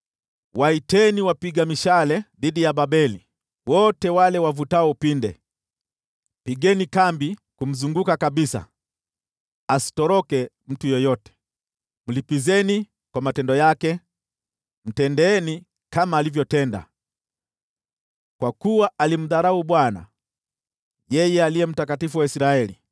“Waiteni wapiga mishale dhidi ya Babeli, wote wale wavutao upinde. Pigeni kambi kumzunguka kabisa, asitoroke mtu yeyote. Mlipizeni kwa matendo yake; mtendeeni kama alivyotenda. Kwa kuwa alimdharau Bwana , yeye Aliye Mtakatifu wa Israeli.